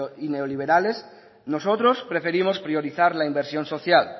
y neoliberales nosotros preferimos priorizar la inversión social